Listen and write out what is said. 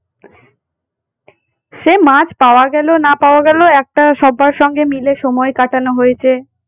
সে মাছ পাওয়া গেল না পাওয়া গেল একটা সব্বার সঙ্গে মিলে সময় কাটানো হয়েছে।